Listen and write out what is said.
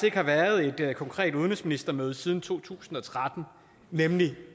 ikke har været et konkret udenrigsministermøde siden to tusind og tretten nemlig